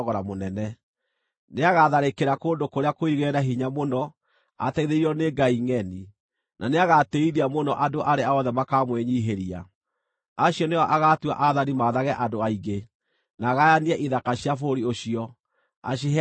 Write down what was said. Nĩagatharĩkĩra kũndũ kũrĩa kũirigĩre na hinya mũno ateithĩrĩirio nĩ ngai ngʼeni, na nĩagatĩĩithia mũno andũ arĩa othe makamwĩnyiihĩria. Acio nĩo agaatua aathani maathage andũ aingĩ, na agayanie ithaka cia bũrũri ũcio, aciheane na thogora.